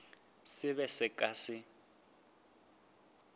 se be se ka se